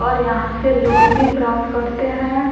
और यहाँ से लोन भी प्राप्त करते हैं।